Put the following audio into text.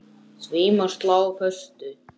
Því má slá föstu.